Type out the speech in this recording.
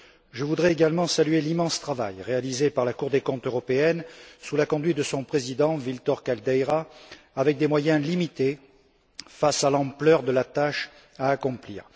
Je voudrais également saluer l'immense travail réalisé par la Cour des comptes européenne sous la conduite de son président, Vítor Caldeira, avec des moyens limités face à l'ampleur de la tâche à accomplir.